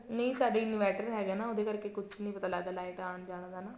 ਨਹੀਂ ਸਾਡੇ inverter ਹੈਗਾ ਨਾ ਉਹਦੇ ਕਰਕੇ ਕੁੱਛ ਨੀ ਪਤਾ ਲੱਗਦਾ ਲਾਇਟ ਆਉਣ ਜਾਣ ਦਾ